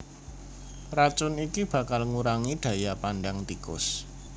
Racun iki bakal ngurangi daya pandang tikus